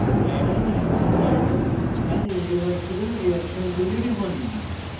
add an arrow for an irreversible reaction tool টিপুন